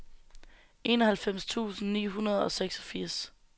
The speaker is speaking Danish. enoghalvfems tusind ni hundrede og seksogfirs